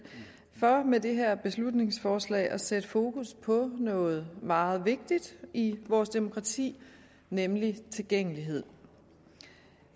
for med det her beslutningsforslag at sætte fokus på noget meget vigtigt i vores demokrati nemlig tilgængelighed